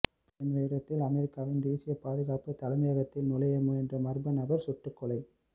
பெண் வேடத்தில் அமெரிக்காவின் தேசிய பாதுகாப்பு தலைமையகதிற்குள் நுழையமுயன்ற மர்ம நபர் சுட்டுக்கொலை